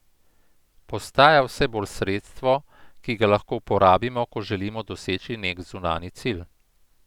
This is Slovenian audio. Postaja vse bolj sredstvo, ki ga lahko uporabimo, ko želimo doseči neki zunanji cilj.